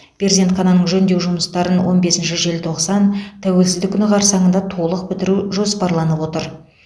перзентхананың жөндеу жұмыстарын он бесінші желтоқсан тәуелсіздік күні қарсаңында толық бітіру жоспарланып отыр